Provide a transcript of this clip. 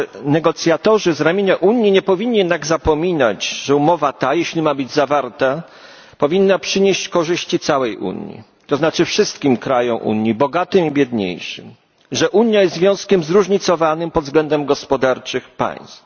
Negocjatorzy z ramienia Unii nie powinni jednak zapominać, że umowa ta, jeśli ma być zawarta, powinna przynieść korzyści całej Unii, to znaczy wszystkim krajom Unii, bogatym i biedniejszym, że Unia jest związkiem zróżnicowanych pod względem gospodarczym państw.